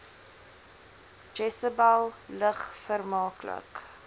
jesebel lig vermaaklik